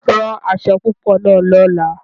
Rán aṣọ̀ púpọ̀ náà lọ̀lá!